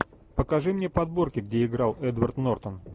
покажи мне подборки где играл эдвард нортон